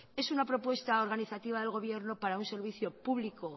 es una propuesto organizativa del gobierno para un servicio público